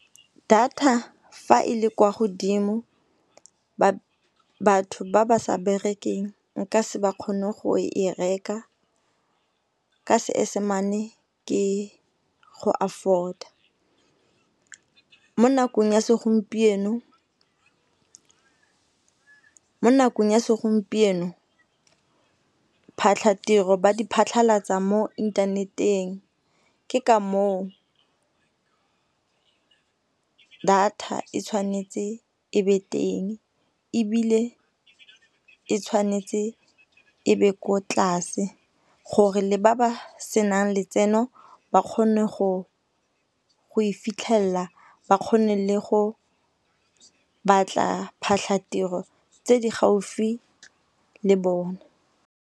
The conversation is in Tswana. Data fa e le kwa godimo batho ba ba sa berekeng nka se ba kgone go e reka ka seesemane ke go afford-a. Mo nakong ya segompieno phatlhatiro ba di phatlhalatsa mo inthaneteng, ke ka moo data e tshwanetse e be teng ebile e tshwanetse e be ko tlase gore le ba ba senang letseno ba kgone go e fitlhela ba kgone le go batla phatlhatiro tse di gaufi le bone.